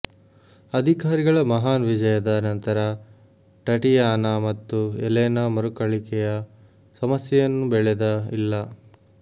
ಅಧಿಕಾರಿಗಳ ಮಹಾನ್ ವಿಜಯದ ನಂತರ ಟಟಿಯಾನಾ ಮತ್ತು ಎಲೆನಾ ಮರುಕಳಿಕೆಯ ಸಮಸ್ಯೆಯನ್ನು ಬೆಳೆದ ಇಲ್ಲ